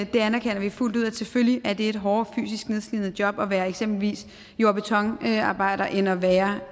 det anerkender vi fuldt ud selvfølgelig er det et hårdere fysisk nedslidende job at være eksempelvis jord og betonarbejder end at være